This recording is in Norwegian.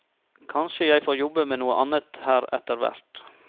Kanskje jeg får jobbe med noe annet her etterhvert.